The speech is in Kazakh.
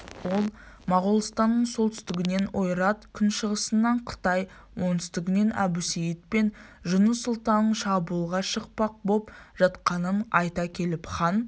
ол моғолстанның солтүстігінен ойрат күншығысынан қытай оңтүстігінен әбусейіт пен жұныс сұлтанның шабуылға шықпақ боп жатқанын айта келіп хан